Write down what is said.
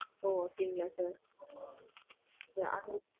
ஓ! அப்படிங்களா sir?